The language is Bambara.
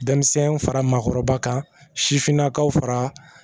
Denmisɛnnin fara maakɔrɔba kan sifinnakaw fara